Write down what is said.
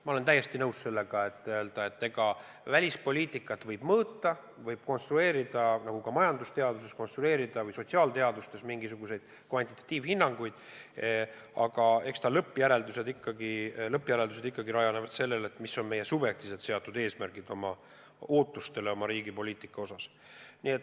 Ma olen täiesti nõus sellega, et välispoliitikat võib mõõta, võib neid mõõdikuid konstrueerida, nagu ka majandusteaduses ja sotsiaalteadustes võib konstrueerida mingisuguseid kvantitatiivhinnanguid, aga eks lõppjäreldused ikkagi rajanevad sellel, mis on meie subjektiivselt seatud eesmärgid oma riigi poliitikas.